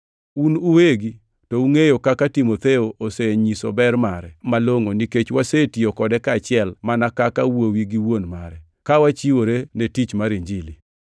Un uwegi to ungʼeyo kaka Timotheo osenyiso ber mare malongʼo, nikech wasetiyo kode kaachiel mana kaka wuowi gi wuon mare, ka wachiwore ne tich mar Injili.